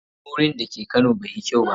Tsohon wurin da ke kano bai yi kyau ba.